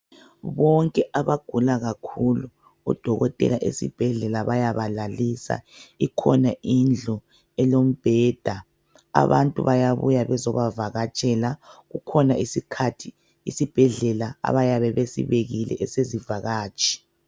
Bonke abagula kakhulu odokotela esibhedlela bayabalalisa. Ikhona indlu elombeda. Abantu bayabuya bezobavakatshela. Kukhona isikhathi isibhedlela abayabe besibekile esezivakatshi.